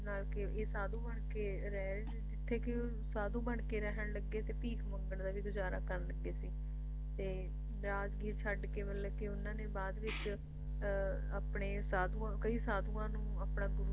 ਜਿਸ ਨਾਲ ਕੇ ਇਹ ਸਾਧੂ ਬਣਕੇ ਰਹਿਣ ਜਿੱਥੇ ਕੇ ਸਾਧੂ ਬਣਕੇ ਰਹਿਣ ਲੱਗੇ ਤੇ ਭੀਖ ਮੰਗਣ ਲੱਗੇ ਤੇ ਗੁਜਾਰਾ ਕਰਨ ਲੱਗੇ ਸੀ ਤੇ ਰਾਜਗੀਰ ਛੱਡਕੇ ਮਤਲਬ ਕੇ ਉਹਨਾਂ ਨੇ ਬਾਅਦ ਵਿੱਚ ਅਹ ਆਪਣੇ ਸਾਧੂਆਂ ਕਈ ਸਾਧੂਆਂ ਨੂੰ ਆਪਣਾ